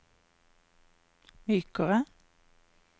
mykere